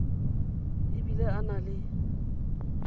e bile ba na le